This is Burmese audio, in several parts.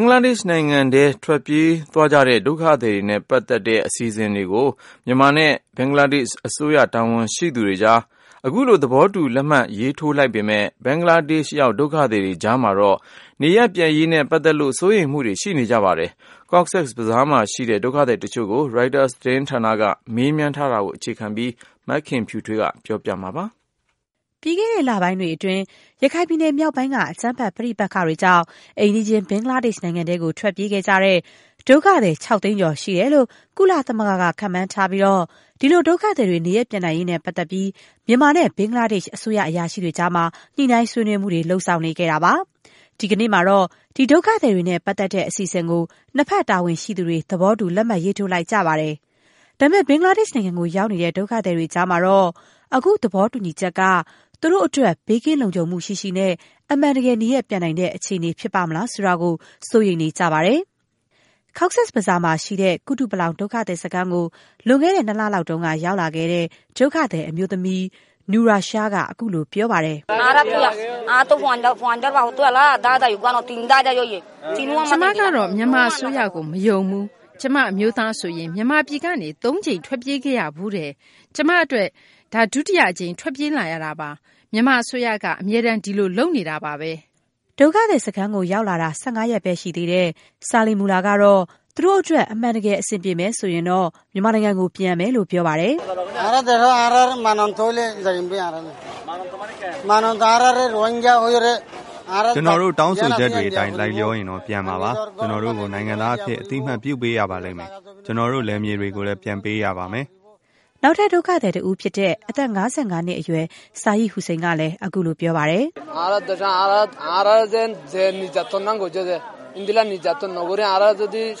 င်္ဂလားဒေ့ရှ် နိုင်ငံထဲ ထွက်ပြေးသွားခဲ့ကြတဲ့ ဒုက္ခသည်တွေနဲ့ပတ်သက်တဲ့ အစီအစဉ်ကိုမြန်မာနဲ့ ဘင်္ဂလားဒေ့ရှ်အစိုး တာဝန်ရှိသူတွေ ဒီကနေ့ သဘောတူ လက်မှတ် ရေးထိုးလိုက်ပေမဲ့၊ ဘင်္ဂလားဒေ့ရှ်ရောက် ဒုက္ခသည်တွေကြား မှာတော့ နေရပ်ပြန်ရေးနဲ့ပတ်သက်လို့ စိုးရိမ်မှုတွေ ရှိနေကြပါတယ်။ Cox's Bazar မှာရှိတဲ့ ဒုက္ခသည်တချို့ကို ရိုက်တာ သတင်းဌာနက မေးမြန်းထားတာကိုအခြေခံပြီး မခင်ဖြူထွေးက တင်ပြပေးပါမယ်။ ပြီးခဲ့တဲ့လပိုင်းတွေအတွင်း ရခိုင်ပြည်နယ် မြောက်ပိုင်းက အကြမ်းဖက်ပဋိပက္ခတွေကြောင့် အိမ်နီးချင်း ဘင်္ဂလားဒေ့ရှ် နိုင်ငံထဲ ထွက်ပြေးခဲ့တဲ့ ဒုက္ခသည် ၆ သိန်းကျော် ရှိတယ်လို့ ကုလသမဂ္ဂက ခန့်မှန်းထားပြီး၊ ဒီလို ဒုက္ခသည်တွေ နေရပ်ပြန်နိုင်ရေးနဲ့ပတ်သက်လို့ မြန်မာနဲ့ ဘင်္ဂလားဒေ့ရှ် အစိုးရ အရာရှိတွေကြား ညှိနှိုင်းဆွေးနွေးမှုတွေ လုပ်ဆောင်နေခဲ့တာပါ။ ဒီကနေ့မှာတော့ ဒီဒုက္ခသည်တွေနဲ့ ပတ်သက်တဲ့ အစီအစဉ်ကို နှစ်ဘက် တာဝန်ရှိသူတွေ သဘောတူ လက်မှတ် ရေးထိုးလိုက်ကြပါတယ်။ ဒါပေမဲ့ ဘင်္ဂလားဒေ့ရှ်ကို ရောက်နေတဲ့ ဒုက္ခသည်တွေကြားမှာတော့ - အခုသဘောတူညီချက်က သူတို့အတွက် ဘေးကင်းလုံခြုံမှု ရှိရှိနဲ့ အမှန်တကယ် နေရပ် ပြန်နိုင်တဲ့အခြေအနေ ဖြစ်လာပါ့မလား ဆိုတာ စိုးရိမ်နေကြပါတယ်။ Cox's Bazar မှာရှိတဲ့ ကုတုပလောင် ဒုက္ခသည်စခန်းကို လွန်ခဲ့တဲ့ နှစ်လလောက်က ရောက်လာခဲ့တဲ့ ဒုက္ခသည် အမျိုးသမီး Nurasha က ခုလို ပြောပါတယ်။ "ကျမ တော့ မြန်မာအစိုးရကို မယုံဘူး။ ကျမ အမျိုးသားဆိုရင် မြန်မာပြည်ကနေ သုံးကြိမ် ထွက်ပြေးခဲ့ရဖူးတယ်။ ကျမ အတွက် ဒါ ဒုတိယအကြိမ် ထွက်ပြေးလာရတာပါ။ မြန်မာအစိုးရက အမြဲတမ်း ဒီလိုလုပ်နေတာပါပဲ။” ဒုက္ခသည်စခန်းကို ရောက်လာတာ ၁၅ ရက်ပဲရှိသေးတဲ့ Salimullah ကတော့ သူတို့အတွက် အမှန်တကယ် အဆင်ပြေရင် ပြန်မယ်လို့ ပြောပါတယ်။ "ကျနော်တို့ တောင်းဆိုချက်တွေအတိုင်း လိုက်လျောရင်တော့ ပြန်မှာပါ။ ကျနော်တို့ကို နိုင်ငံသားအဖြစ် အသိအမှတ် ပြုပေးဖို့ တောင်းဆိုပါတယ်။ ကျနော်တို့ လယ်မြေတွေကိုလည်း ပြန်ပေးရပါမယ်။” နောက်ထပ် ဒုက္ခသည်တဦးဖြစ်တဲ့ အသက် ၅၅ နှစ်အရွယ် Sayed Hussein ကလည်း ခုလို ပြောပါတယ်။ "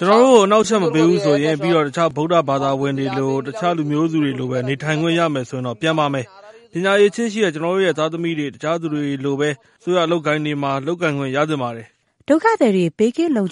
ကျနော်တို့ကို အနှောက်အယှက် မပေးဘူးဆိုရင်… ပြီးတော့ တခြား ဗုဒ္ဓဘာသာဝင်တွေ၊ တခြားလူမျိုးစုတွေလိုပဲ နေထိုင်ခွင့် ရမယ်ဆိုရင်တော့ ပြန်ပါမယ်။ ပညာအရည်အချင်းရှိတဲ့ ကျနော်တို့ရဲ့သားသမီးတွေလည်း… တခြားသူတွေလိုပဲ အစိုးရ အလုပ်အကိုင်တွေမှာ လုပ်ကိုင်ခွင့် ရသင့်ပါတယ်။” ဒုက္ခသည်တွေ ဘေးကင်းကင်း နေ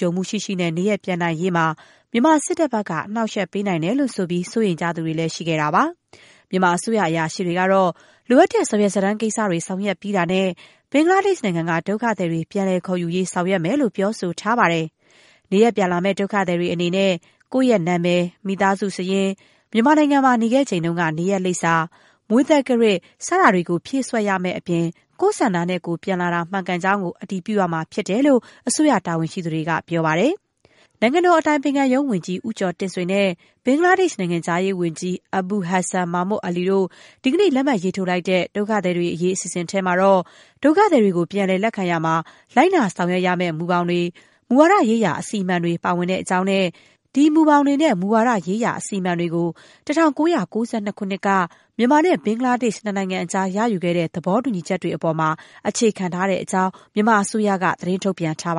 ရပ် ပြန်နိုင်ရေးမှာ မြန်မာစစ်တပ်က အနှောက်အယှက် ပေးနိုင်တယ်လို့ ဆိုပြီး စိုးရိမ်သူတွေလည်း ရှိခဲ့တာပါ။ မြန်မာအစိုးရ အရာရှိတွေကတော့ လိုအပ်တဲ့ စာရွက်စာတမ်း ကိစ္စတွေ ဆောင်ရွက်ပြီးတာနဲ့ ဘင်္ဂလားဒေ့ရှ်နိုင်ငံက ဒုက္ခသည်တွေ ပြန်လည် ခေါ်ယူရေး ဆောင်ရွက်မယ်လို့ ပြောဆိုထားပါတယ်။ နေရပ်ပြန်လာမယ့် ဒုက္ခသည်တွေအနေနဲ့ - ကိုယ့်ရဲ့နံမည်၊ မိသားစုစာရင်း၊ မြန်မာနိုင်ငံမှာ နေခဲ့ချိန်က နေရပ်လိပ်စာ၊ မွေးသက္ကရာဇ် စတာတွေ ဖြည့်စွက်ရမယ့်အပြင် ကိုယ့်ဆန္ဒနဲ့ကိုယ် ပြန်လာတာ မှန်ကန်ကြောင်းကို အတည်ပြုရမှာဖြစ်တယ်လို့ အစိုးရတာဝန်ရှိသူတွေက ပြောဆိုထားပါတယ်။ နိုင်ငံတော် အတိုင်ပင်ခံရုံးဝန်ကြီး ဦးကျော်တင့်ဆွေနဲ့ ဘင်္ဂလားဒေရှ့် နိုင်ငံခြားရေး ဝန်ကြီး အဘူလ် ဟဒ်ဆန် မာမွတ် အလီ တို့ ဒီကနေ့ လက်မှတ်ရေးထိုးလိုက်တဲ့ ဒုက္ခသည်တွေအရေး အစီအစဉ်ထဲမှာတော့ ဒုက္ခသည်တွေကို ပြန်လည်လက်ခံရာမှာ လိုက်နာဆောင်ရွက်ရမယ့် မူဘောင်တွေ၊ မူဝါဒရေးရာ အစီအမံတွေ ပါဝင်တဲ့အကြောင်းနဲ့ ဒီမူဘောင်တွေနဲ့ မူဝါဒရေးရာ အစီအမံတွေကို ၁၉၉၂ ခုနှစ်က မြန်မာနဲ့ ဘင်္ဂလားဒေရှ့်နိုင်ငံကြား ရယူခဲ့တဲ့ သဘောတူညီချက်တွေအပေါ်မှာ အခြေခံထားတဲ့အကြောင်း မြန်မာအစိုးရက သတင်း ထုတ်ပြန်ထားပါ